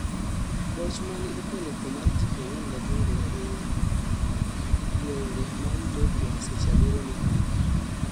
Goch mane okelo thoo mar ji 48 ei ngwenge ma Utopia seche 7 mokalo